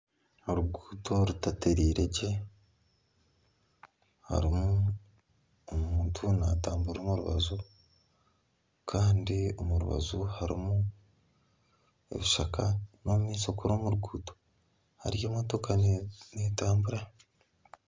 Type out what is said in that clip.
Oruguuto rutatereire gye harimu omuntu natamburira omu rubaju kandi omu rubaju harimu ebishaka, n'omumaisho kuri omu ruguuto hariyo emotoka neetambura.